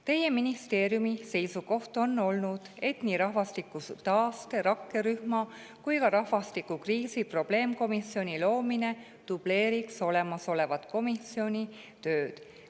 Teie ministeeriumi seisukoht on olnud, et nii rahvastikutaaste rakkerühma kui ka rahvastikukriisi probleemkomisjoni loomine dubleeriks olemasolevat komisjoni tööd.